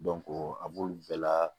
a b'olu bɛɛ la